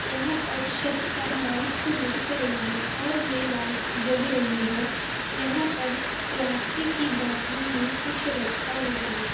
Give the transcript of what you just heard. और यहां पर सत पर लाइट्स लटक रही है और ये लाइट्स जग रही है यहां पर प्लास्टिक की बोटलो में कुछ रखा हुआ है।